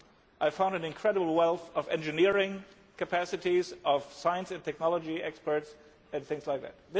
I found also an incredible wealth of engineering capacities, of science and technology experts, and things like that.